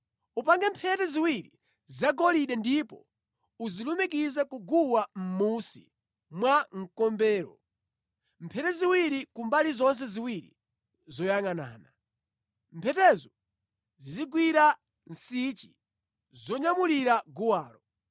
Upange mphete ziwiri zagolide ndipo uzilumikize ku guwa mʼmunsi mwa mkombero, mphete ziwiri ku mbali zonse ziwiri zoyangʼanana. Mphetozo zizigwira nsichi zonyamulira guwalo.